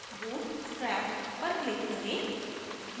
bootstrap पर click करें